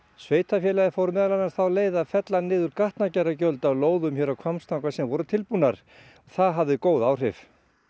sveitarfélagið fór meðal annars þá leið að fella niður gatnagerðargjöld af lóðum hér á Hvammstanga sem voru tilbúnar það hafði góð áhrif